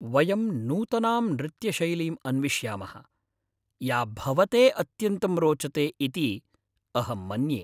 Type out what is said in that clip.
वयं नूतनां नृत्यशैलीम् अन्विष्यामः या भवते अत्यन्तं रोचते इति अहं मन्ये।